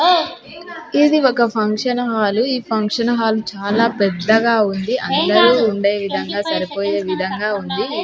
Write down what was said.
ఇది ఒక function hall . ఈ ఫంక్షన్ హాల్ చాల పెద్దగా ఉంది. అందరు ఉందే విధంగా సరిపోయే విధంగా ఉంది.